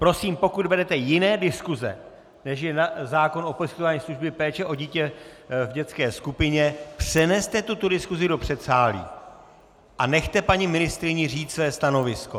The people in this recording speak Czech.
Prosím, pokud vedete jiné diskuse, než je zákon o poskytování služby péče o dítě v dětské skupině, přeneste tuto diskusi do předsálí a nechte paní ministryni říct své stanovisko.